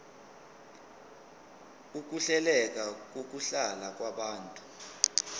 ukuhleleka kokuhlala kwabantu